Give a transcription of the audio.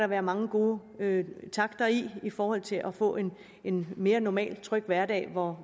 være mange gode takter i i forhold til at få en en mere normal tryg hverdag hvor